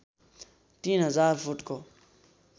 ३००० फुटको